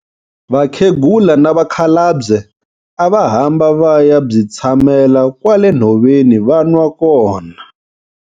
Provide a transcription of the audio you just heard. Vakhegula na vakhalabye a va hamba va ya byi tshamela kwale nhoveni va nwa kona.